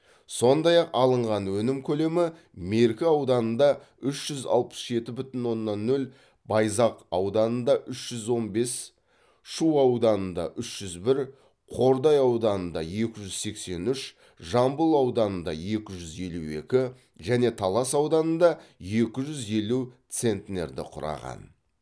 сондай ақ алынған өнім көлемі меркі ауданында үш жүз алпыс жеті бүтін оннан нөл байзақ ауданында үш жүз он бес шу ауданында үш жүз бір қордай ауданында екі жүз сексен үш жамбыл ауданында екі жүз елу екі және талас ауданында екі жүз елу центнерді құраған